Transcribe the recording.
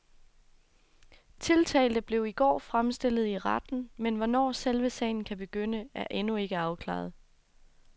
Tiltalte blev i går fremstillet i retten, men hvornår selve sagen kan begynde, er endnu ikke afklaret.